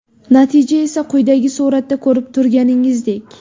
Natija esa quyidagi suratda ko‘rib turganingizdek .